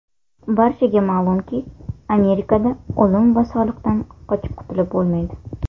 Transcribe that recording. Barchaga ma’lumki, Amerikada o‘lim va soliqdan qochib qutulib bo‘lmaydi.